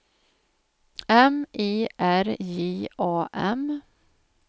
M I R J A M